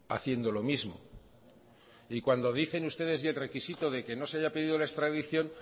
haciendo lo mismo y cuando dicen ustedes y el requisito de que no se haya pedido la extradición